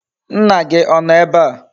Nna gi Ono ebea?